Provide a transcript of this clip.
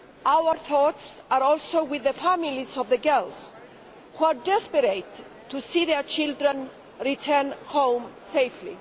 Our thoughts are also with the families of the girls, who are desperate to see their children return home safely.